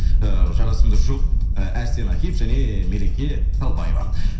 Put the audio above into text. ыыы жарасымды жұп ы әрсен әкиев және мереке қалыбаева